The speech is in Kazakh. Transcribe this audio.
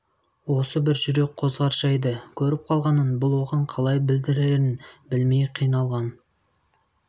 осы бір жүрек қозғар жайды көріп қалғанын бұл оған қалай білдірерін білмей қиналған